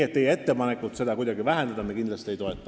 Teie ettepanekut seda kuidagi vähendada me kindlasti ei toeta.